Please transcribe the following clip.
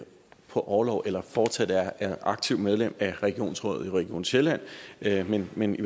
på orlov eller fortsat er aktivt medlem af regionsrådet i region sjælland men men